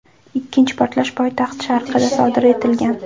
Ikkinchi portlash poytaxt sharqida sodir etilgan.